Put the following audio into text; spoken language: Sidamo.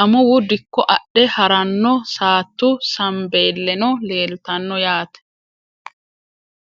amuwu dikko adhe haranno saattu sambeeleno leeltanno yaate .